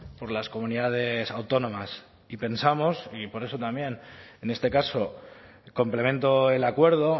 por las comunidades autónomas y pensamos y por eso también en este caso complemento el acuerdo